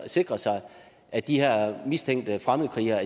sikre sig at de her mistænkte fremmede krigere